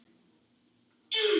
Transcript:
Ég tók hann því heim.